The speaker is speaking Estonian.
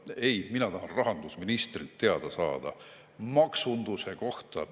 Ei, mina tahan rahandusministrilt teada saada maksunduse kohta.